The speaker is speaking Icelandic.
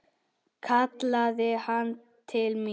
kallaði hann til mín.